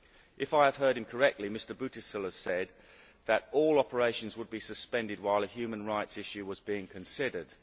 If I heard him correctly, Mr Busuttil said that all operations would be suspended while a human rights issue was being considered.